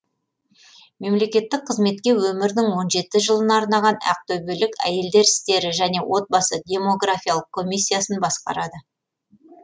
мемлекеттік қызметке өмірінің он жеті жылын арнаған ақтөбелік әйелдер істері және отбасы демографиялық комиссиясын басқарады